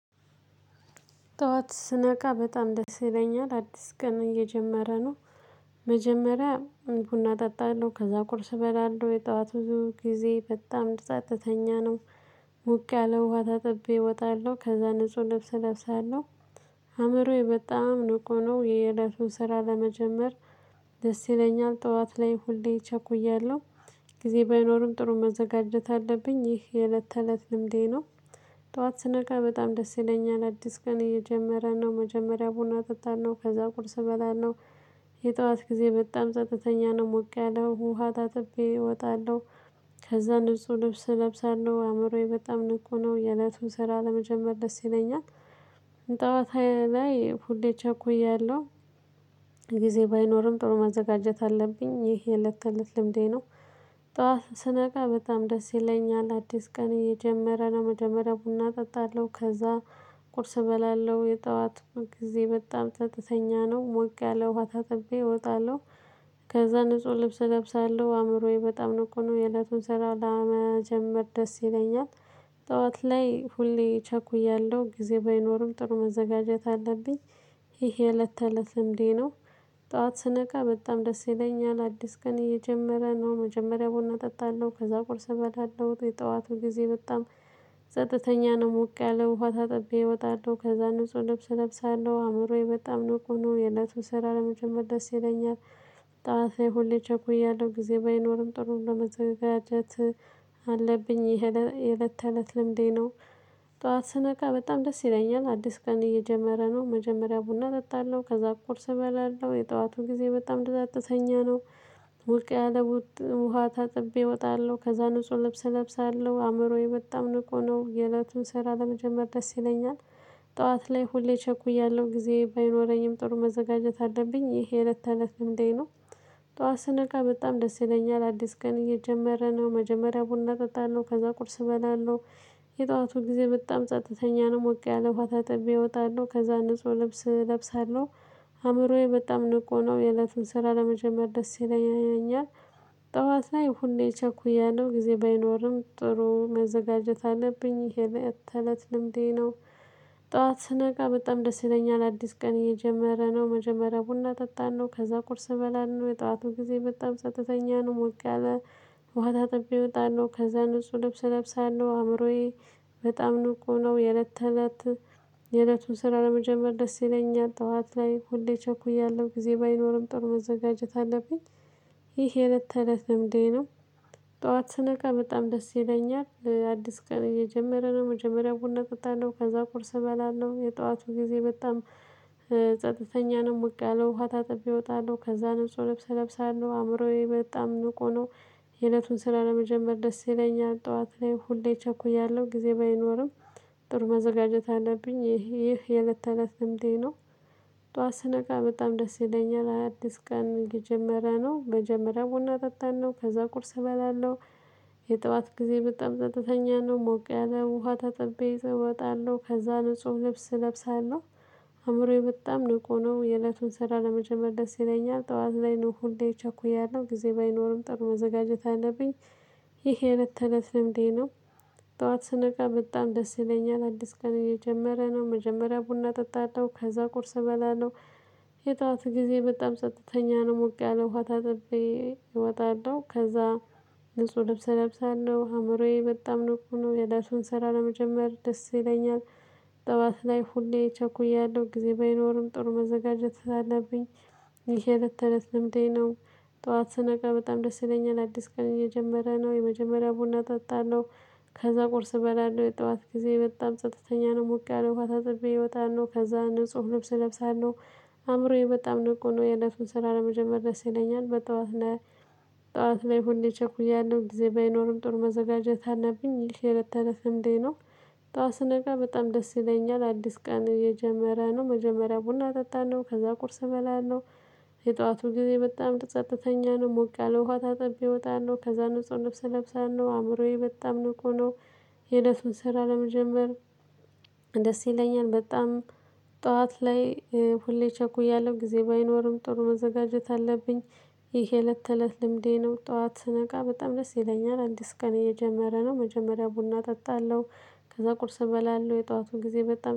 ጠዋት ስነቃ በጣም ደስ ይለኛል አዲስ ቀን እየጀመረ ነው። መጀመሪያ ቡና እጠጣለሁ ከዛ ቁርስ እበላለሁ የጠዋት ብዙ ጊዜ በጣም ጸጥተኛ ነው። ሞቅ ያለ ውሃ ታጥቤ እወጣለሁ ከዛ ንጹህ ልብስ እለብሳለሁ። አእምሮዬ በጣም ንቁ ነው የየዕለቱን ስራ ለመጀመር። ደስ ይለኛል ጠዋት ላይ ሁሌ ቸኩያለሁ። ጊዜ ባይኖርም ጥሩ መዘጋጀት አለብኝ ይህ የእለት ተእለት ልምዴ ነው። እጠዋት ስነቃ በጣም ደስ ይለኛል አዲስ ቀን እየጀመረ ነው መጀመሪያ ቡና እጠጣለው ከዛ ቁርስ እበላለሁ። የጧት ጊዜ በጣም ጸጥተኛ ነው ሞቅ ያለ ውሃ ታጥቤ እወጣለሁ። ከዛ ንጹህ ልብስ እለብሳለሁ አእምሮዬ በጣም ንቁ ነው የእለቱን ስራ ለመጀመር ደስ ይለኛል። ጠዋት ላይ ሁሌ ቸኩያለሁ። ጊዜ ባይኖርም ጥሩ ማዘጋጀት አለብኝ ይሄ የእለት ተለት ልምዴ ነው። ጠዋት ስነቃ በጣም ደስ ይለኛል አዲስ ቀን እየጀመረ ነው መጀመሪያ ቡና እጠጣለሁ ከዛ። ቁርስ እበላለሁ የጠዋት ጊዜ በጣም ጸጥተኛ ነው ሞቅ ያለ ውሃ ታጥቤ እወጣለሁ። ከዛ ንጹህ ልብስ እለብሳለሁ አእምሮዬ በጣም ንቁ ነው የእለቱን ስራ ለመጀመር ደስ ይለኛል። ጠዋት ላይ ሁሌ ቸኩያለሁ ጊዜ ባይኖርም ጥሩ መዘጋጀት አለብኝ። ይሄ እለት ተእለት ልምዴ ነው። ጠዋት ስነቃ በጣም ደስ ይለኛል አዲስ ቀን እየጀመረ ነው መጀመሪያ ቡና እጠጣለሁ ከዛ ቁርስ እበላለሁ የጠዋቱ ጊዜ በጣም። ጸጥተኛ ነው ሞቅ ያለ ውሃ ታጥቤ እወጣለሁ ከዛ ንጹህ ልብስ እለብሳለሁ አእምሮዬ በጣም ንቁ ነው የእለቱን ስራ ለመጀመር ደስ ይለኛል። ጠዋት ላይ ሁሌ ቸኩያለሁ ጊዜ ባይኖርም ጥሩ እንደመዘጋጀት አለብኝ ይሄ የእለት ተለት ልምዴ ነው። ጠዋት ስነቃ በጣም ደስ ይለኛል አዲስ ቀን እየጀመረ ነው መጀመሪያ ቡና እጠጣለሁ ከዛ ቁርስ እበላለሁ የጠዋቱ ጊዜ በጣም ጸጥተኛ ነው። ሙቅ ያለ ውሃ ታጥቤ እወጣለሁ ከዛ ንጹህ ልብስ እለብሳለሁ አእምሮዬ በጣም ንቁ ነው የእለቱን ስራ ለመጀመር ደስ ይለኛል። ጠዋት ላይ ሁሌ ቸኩያለሁ ጊዜ ባይኖረኝም ጥሩ መዘጋጀት አለብኝ ይሄ የእለት ተለት ልምዴ ነው። ጠዋት ስነቃ በጣም ደስ ይለኛል አዲስ ቀን እየጀመረ ነው መጀመሪያ ቡና እጠጣለሁ ከዛ ቁርስ እበላለሁ። የጠዋቱ ጊዜ በጣም ጸጥተኛ ነው ሞቅ ያለ ውሃ ታጥቤ እወጣለሁ ከዛ ንጹህ ልብስ እለብሳለሁ። አእምሮዬ በጣም ንቆ ነው የእለቱን ስራ ለመጀመር ደስ ይለኛል። ጠዋት ላይ ሁሌ ቸኩያለሁ ጊዜ ባይኖርም ጥሩ መዘጋጀት አለብኝ ይሄ የእለት ተለት ልምዴ ነው። ጠዋት ስነቃ በጣም ደስ ይለኛል አዲስ ቀን እየጀመረ ነው መጀመሪያ ቡና ጠጣለው ከዛ ቁርስ እበላለሁ የጠዋቱ ጊዜ በጣም ጸጥተኛ ነው ሞቅ ያለ። ውሃ ታጥቤ እወጣለሁ ከዛ ንጹህ ልብስ እለብሳለሁ አእምሮዬ በጣም ንቁ ነው የእለት ተለት። የእለቱን ስራ ለመጀመር ደስ ይለኛል ጠዋት ላይ ሁሌ ቸኩያለሁ ጊዜ ባይኖርም ጥሩ መዘጋጀት አለብኝ ይሄ የእለት ተለት ልምዴ ነው። ጠዋት ስነቃ በጣም ደስ ይለኛል ለአዲስ ቀን እየጀመረ ነው መጀመሪያው ቡና እጠጣለሁ ከዛ ቁርስ እበላለሁ የጠዋቱ ጊዜ በጣም። ጸጥተኛ ነው ሞቅ ያለው ውሃ ታጥቤ እወጣለሁ ከዛ ንጹህ ልብስ እለብሳለሁ አእምሮዬ በጣም ንቁ ነው። የእለቱን ስራ ለመጀመር ደስ ይለኛል ጠዋት ላይ ሁሌ ቸኩያለሁ ጊዜ ባይኖርም ጥሩ መዘጋጀት አለብኝ ይሄ የእለት ተለት ልምዴ ነው። ጠዋት ስነቃ በጣም ደስ ይለኛል አዲስ ቀን የጀመረ ነው መጀመሪያ ቡና እጠጣለሁ ከዛ ቁርስ እበላለሁ። የጠዋት ጊዜ በጣም ጸጥተኛ ነው ሞቅ ያለ ውሃ ታጥቤ እወጣለሁ ከዛ ንጹህ ልብስ እለብሳለሁ። አእምሮዬ በጣም ንቁ ነው የእለቱን ስራ ለመጀመር ደስ ይለኛል ጠዋት ላይ ነው ሁሌ እቸኩያለሁ ጊዜ ባይኖርም ጥሩ መዘጋጀት አለብኝ። ይሄ የእለት ተእለት ልምዴ ነው። ጠዋት ስነቃ በጣም ደስ ይለኛል አዲስ ቀን እየጀመረ ነው መጀመሪያ ቡና እጠጣለሁ ከዛ ቁርስ እበላለሁ። የጠዋቱ ጊዜ በጣም ጸጥተኛ ነው ሞቅ ያለ ውሃ ታጥቤ እወጣለሁ ከዛ። ንጹህ ልብስ እለብሳለሁ አእምሮዬ በጣም ንቁ ነው የእለቱን ስራ ለመጀመር ደስ ይለኛል። ጠዋት ላይ ሁሌ ቸኩያለሁ ጊዜ ባይኖርም ጥሩ መዘጋጀት ስላለብኝ። ይሄ የእለት ተለት ልምዴ ነው። ጠዋት ስነቃ በጣም ደስ ይለኛል አዲስ ቀን እየጀመረ ነው የመጀመሪያ ቡና እጠጣለሁ። ከዛ ቁርስ እበላለሁ የጠዋት ጊዜ በጣም ጸጥተኛ ነው ሞቅ ያለው ውሃ ታጥቤ እወጣለሁ ከዛ ንጹህ ልብስ እለብሳለሁ። አእምሮዬ በጣም ነው ንቁ ነው የእለቱን ስራ ለመጀመር ደስ ይለኛል በጠዋት። ጠዋት ላይ ሁሌ ቸኩያለሁ ጊዜ ባይኖርም ጥሩ መዘጋጀት አለብኝ ይህ የእለት ተለት ልምዴ ነው። ጠዋት ስነቃ በጣም ደስ ይለኛል አዲስ ቀን እጀመረ ነው መጀመሪያ ቡና እጠጣለሁ ከዛ ቁርስ እበላለሁ። የጠዋቱ ጊዜ በጣም ጸጥተኛ ነው ሞቅ ያለው ውሃ ታጥቤ እወጣለሁ ከዛ ንጹህ ልብስ እለብሳለሁ አእምሮዬ በጣም ንቁ ነው። የለቱን ስራ ለመጀመር። ደስ ይለኛል በጣም። ጠዋት ላይ ሁሌ ቸኩያለሁ ጊዜ ባይኖርም ጥሩ መዘጋጀት አለብኝ። ይሄ እለት ተእለት ልምዴ ነው። ጠዋት ስነቃ በጣም ደስ ይለኛል አዲስ ቀን እየጀመረ ነው መጀመሪያ ቡና እጠጣለሁ ከዛ ቁርስ እበላለሁ የጠዋቱን ጊዜ በጣም